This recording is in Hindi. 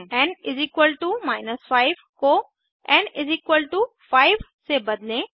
एन 5 को एन 5 से बदलें